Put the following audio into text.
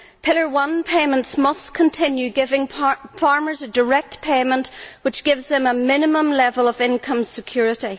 Pillar one payments must continue giving farmers a direct payment which gives them a minimum level of income security.